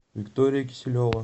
виктория киселева